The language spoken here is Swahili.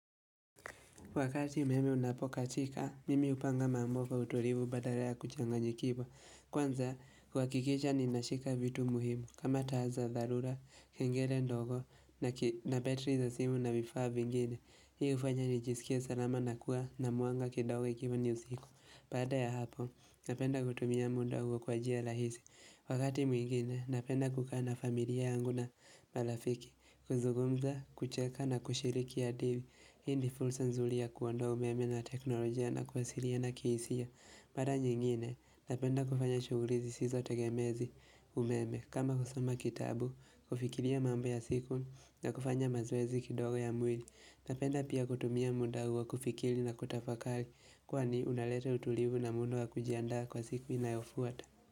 Wakati umeme unapokatika, mimi hupanga mambo kwa utulivu badala ya kuchanganyikiwa. Kwanza, kuhakikisha ni nashika vitu muhimu. Kama taaza, tharura, kengele ndogo, na betri za simu na vifaa vingine. Hii hufanya nijisikie salama na kuwa na mwanga kindogo ikiwa ni usiku. Baada ya hapo, napenda kutumia muda huo kwa njia rahisi. Wakati mwingine, napenda kukaa na familia yangu na marafiki. Kuzugumza, kucheka na kushiriki hadithi. Ya kuondoa umeme na teknolojia na kuwasiriana kihisia. Mara nyingine, napenda kufanya shugulu zisizo tegemezi umeme. Kama kusoma kitabu, kufikiria mambo ya siku na kufanya mazoezi kidogo ya mwili. Napenda pia kutumia muda huo kufikiri na kutafakali. Kwani unalete utulivu na muda wa kujiandaa kwa siku inayofuata.